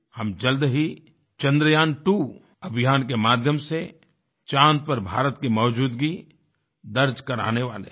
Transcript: हम जल्द ही Chandrayaan2 अभियान के माध्यम से चाँद पर भारत की मौजूदगी दर्ज कराने वाले हैं